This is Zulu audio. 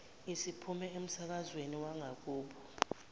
isiphume emsakazweni wangakubo